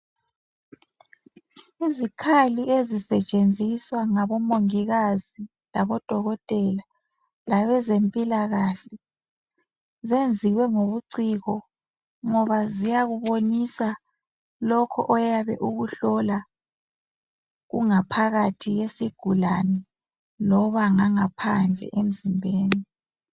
Izikhali ezisetshenziswa ngabomongikazi labodokotela labezempilakahle. Zenziwe ngobuciko, ngoba ziyakubonisa lokho oyabe ukuhlola kungaphakathi kwesigulane loba ngangaphandle emzimbeni.